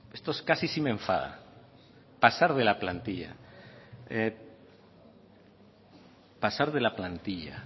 me esto casi sí me enfada pasar de la plantilla